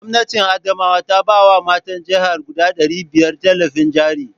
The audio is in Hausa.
Gwamnatin Adamawa ta ba wa matan jihar guda ɗari biyar tallafin jari